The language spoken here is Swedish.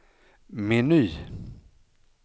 meny